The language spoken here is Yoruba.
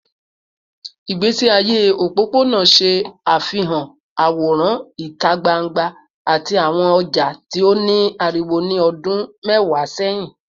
Igbesi aye opopona ṣe afihan aworan ita gbangba ati awọn ọja ti o ni ariwo ni ọdun mẹwa sẹhin